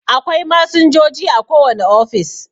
Akwai masinjoji a kowane ofis